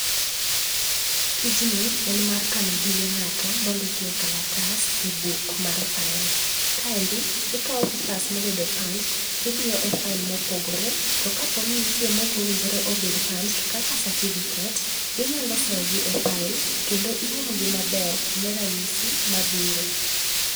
Tijni en mar kano gige ngato mondiki e kalatas e buk mar file. Kaendi ikao papers mobedo punched tidiyo e file mopogore to kaponi nitie maok owinjore obed punched kaka certificate inyalo sogi e file kendo iumgi maber ne ranyisi mabiro.